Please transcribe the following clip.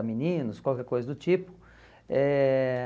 meninos, qualquer coisa do tipo. Eh